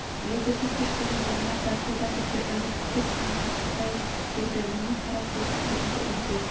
белгісіз күш соның маңына тартты да тұрды үміт күтіп айналшықтай берді міне қара сиырдың бүгінгі үміті